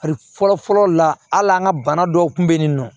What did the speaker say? Ali fɔlɔfɔlɔ la hali an ka bana dɔw kun be yen nɔ